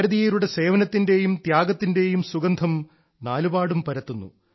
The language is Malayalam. ഭാരതീയരുടെ സേവനത്തിന്റെയും ത്യാഗത്തിന്റെയും സുഗന്ധം നാലുപാടും പരത്തുന്നു